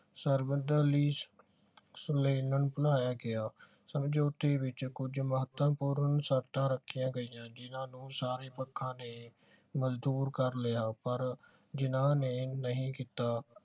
ਸਰਵਦਲੀ ਬਣਾਇਆ ਗਿਆ ਸਮਝੌਤੇ ਵਿਚ ਕੁਛ ਮਹੱਤਵਪੂਰਨ ਸ਼ਰਤਾਂ ਰੱਖੀਆਂ ਗਈਆਂ ਜਿੰਨਾ ਨੂੰ ਸਾਰੇ ਪੱਖਾਂ ਨੇ ਮੰਜੂਰ ਕਰ ਲਿਆ ਪਰ ਜਿਨਾਹ ਨੇ ਨਹੀਂ ਕੀਤਾ